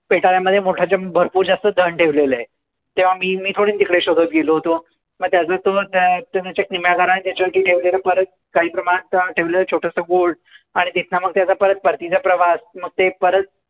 पेटाऱ्यामध्ये मोठं भरपूर जास्त धन ठेवलेले आहे. तेंव्हा मी पण तिकडे शोधत गेलो होतो. मग त्याचा मग त्याचा तर सोन सोडून किमयागाराने परत त्याच्यासमोर ठेवलं छोटसं गुढ. आणि रिकामा परत मग त्याचा परतीचा प्रवास आणि